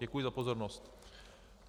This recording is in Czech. Děkuji za pozornost.